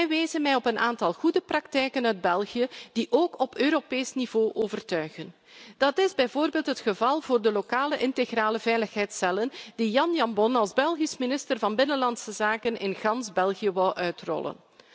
Zij wezen mij op een aantal goede praktijken in België, die ook op Europees niveau overtuigen. Dat is bijvoorbeeld het geval van de lokale integrale veiligheidscellen die Jan Jambon als Belgisch minister van Binnenlandse Zaken in gans België wou uitrollen.